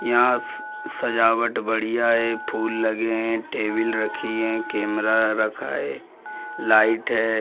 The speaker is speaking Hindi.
यहाँ स स सजावट बढ़िया है | फूल लगे हैं | टेबल रखी है कैमरा रखा है लाइट है।